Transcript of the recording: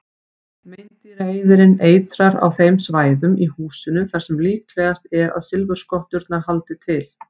Meindýraeyðirinn eitrar á þeim svæðum í húsinu þar sem líklegast er að silfurskotturnar haldi til.